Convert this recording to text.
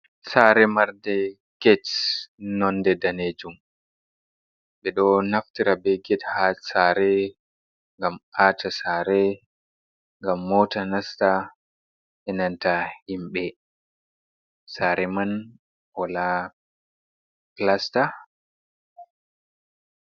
Sare marnde get nonde danejum. Ɓeɗo naftira be get ha sare gam a ta sare, gam mota nasta,E nanta himɓi sare man wala plasta.